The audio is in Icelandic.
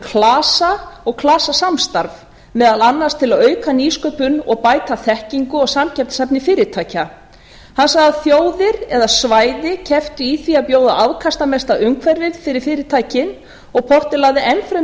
klasa og klasasamstarf meðal annars til að auka nýsköpun og bæta þekkingu og samkeppnishæfni fyrirtækja hann sagði að þjóðir eða svæði kepptu í því að bjóða afkastamesta umhverfið fyrir fyrirtækin og porter lagði enn fremur